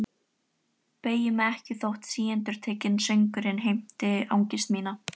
Beygi mig ekki þótt síendurtekinn söngurinn heimti angist mína.